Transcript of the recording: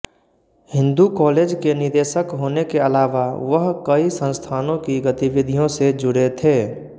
Hindu college के निदेशक होने के अलावा वह कई संस्थानों की गतिविधियों से जुड़े थे